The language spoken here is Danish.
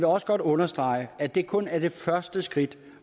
også godt understrege at det kun er det første skridt